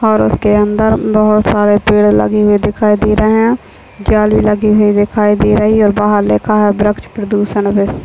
और उसके अंदर बहोत सारे पेड़ लगे हुए दिखाई दे रहे है जाली लगी हुई दिखाई दे रही है और बाहर लिखा है वृक्ष प्रदुषण विश्व--